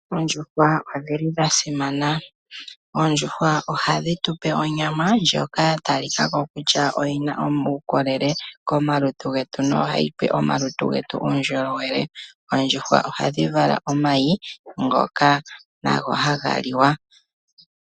Oondjuhwa odhili dha simana, Oondjuhwa ohadhi tupe onyama ndjoka ya talikako kutya oyina omaukolele komalutu getu no hayi pe omalutu uundjolowele, oondjuhwa ohadhi vala omayi ngoka nago haga liwa.